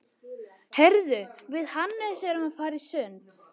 Heyrðu, við Hannes erum að fara í sund.